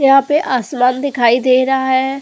यहाँ पे आसमान दिखाई दे रहा है।